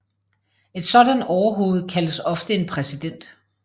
Et sådant overhoved kaldes ofte en præsident